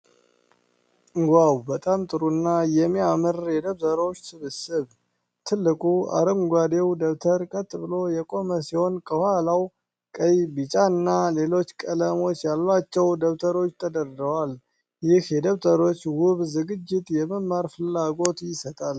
ዋው! በጣም ጥሩ እና የሚያምር የደብተሮች ስብስብ! ጥልቅ አረንጓዴው ደብተር ቀጥ ብሎ የቆመ ሲሆን፣ ከኋላው ቀይ፣ ቢጫና ሌሎች ቀለሞች ያሏቸው ደብተሮች ተደርድረዋል። ይህ የደብተሮች ውብ ዝግጅት የመማር ፍላጎት ይሰጣል።